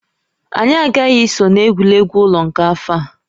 Anyị agaghị eso na egwuregwu ụlọ nke afọ a